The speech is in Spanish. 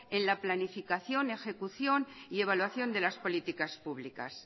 en la planificación ejecución y evaluación de las políticas públicas